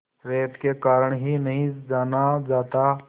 रेत के कारण ही नहीं जाना जाता